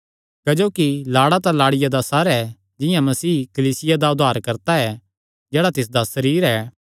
क्जोकि लाड़ा तां लाड़िया दा सिर ऐ जिंआं मसीह कलीसिया दा उद्धारकर्ता ऐ जेह्ड़ा तिसदा सरीरे ऐ